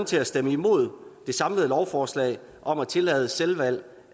til at stemme imod det samlede lovforslag om at tillade selvvalg